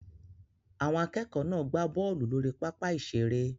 Àwọn akẹ́kọ̀ọ́ náà gbá bọ́ọ̀lù lórí pápá ìṣeré